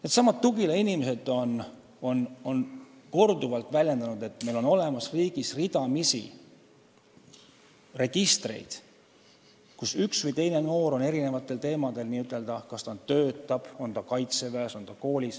Needsamad Tugila inimesed on korduvalt väljendanud, et meil on riigis ridamisi registreid, kus on andmed ühe või teise noore kohta: kas ta töötab, kas ta on kaitseväes, kas ta on koolis.